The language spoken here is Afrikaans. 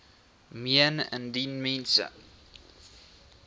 meen indien mens